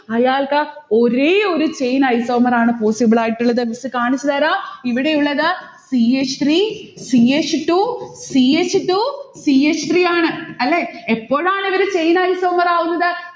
അയാൾക് ഒരേയൊരു chain isomer ആണ് possible ആയിട്ടുള്ളത്. miss കാണിച്ചുതരാം. ഇവിടെ ഉള്ളത് c h three, c h two, c h two, c h three ആണ്. അല്ലെ? എപ്പോഴാണ് ഇവര് chain isomer ആവുന്നത്?